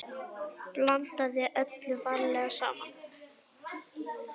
Blandið öllu varlega saman.